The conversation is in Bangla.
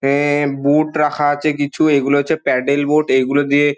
এ-এ বোট রাখা আছে কিছু এই গুলো হচ্ছে প্যাডল বোট । এইগুলো দিয়া--